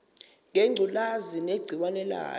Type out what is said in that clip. ngengculazi negciwane layo